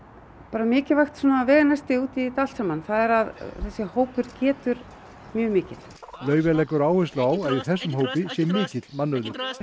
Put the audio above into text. mikilvægt veganesti út í þetta allt saman þessi hópur getur mjög mikil Laufey leggur áherslu á að í þessum hópi sé mikill mannauður við